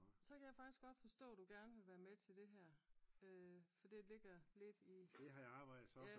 Så kan jeg godt forstå du gerne vil være med til det her øh for det ligger lidt i